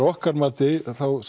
okkar mati